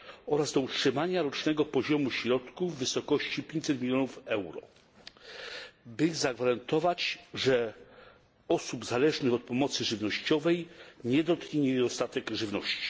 oraz do utrzymania rocznego poziomu środków w wysokości 500 mln euro, by zagwarantować, że osób zależnych od pomocy żywnościowej nie dotknie niedostatek żywności.